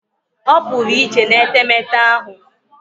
Opuru iche n'etemeete ahu